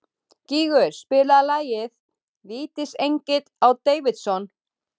Gígur, spilaðu lagið „Vítisengill á Davidson“.